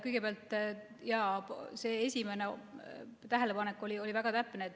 Kõigepealt, jah, see esimene tähelepanek oli väga täpne.